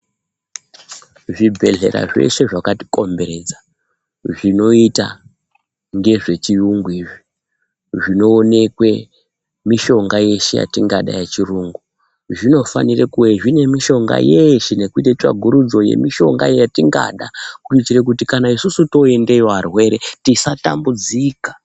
Zvibhedhlera zveshe zvakatikomberedza zvinoita ngezvechiyungu izvi. Zvinoonekwe mishonga yeshe yetingada yechirungu. Zvinofanira kuwe zvine mishonga yeshe nekuita tsvagurudzo yemishonga yatingada kuitira kuti kana isusu toendayo arwere tisatambudzika.